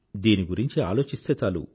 దీని గురింఛి ఆలోచిస్తే చాలు